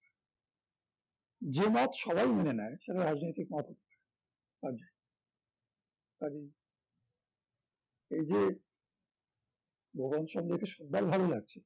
যে মত সবাই মেনে নেয় তারা রাজনৈতিক মত কাজে কাজেই এই যে ভুবন সেন বল ভালো লাগছে